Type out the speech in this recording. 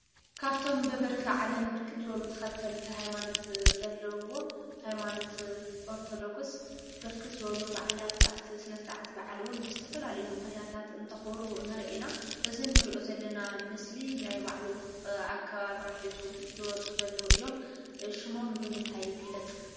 ካብቶም ብብርኪ ዓለም ብርክት ዝበሉ ተኸተልቲ ሃይማኖት ዘለውዎ ሃይማኖት ኦርቶዶክስ ብርክት ዝበሉ በዓላት አብቲ ስነ-ስርዓት በዓል እውን ብዝተፈላለዩ ምክንያታት እናተኽብሩ ንሪኢ ኢና። እዚ እንሪኦ ዘለና ምሰሊ ናይ ባዕሉ አከባብራ ሒዙ ዝወፁ ዘለው እዮም። ሽሞም ብምንታይ ይግለፅ?